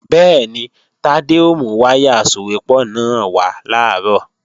Bẹ́ẹ̀ni, Tádé ó mú wáyà asòwépọ̀ náà wá làárọ̀